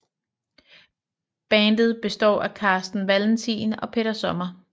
Bandet består af Carsten Valentin og Peter Sommer